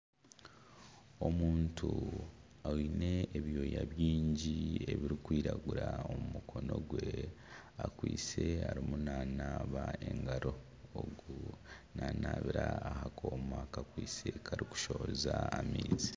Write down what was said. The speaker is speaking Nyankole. Omuntu aine ebyooya bingi ebirikwiragura omu mukono gwe akwaitse arimu nanaaba engaro ogu nanaabira aha kooma kakwaitse karikushohoza amaizi.